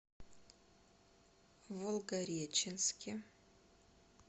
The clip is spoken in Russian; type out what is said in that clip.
волгореченске